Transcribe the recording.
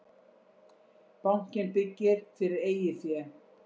Bankinn byggir fyrir eigið fé